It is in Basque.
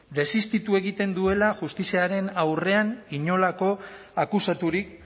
desistitu egiten duela justiziaren aurrean inolako akusaturik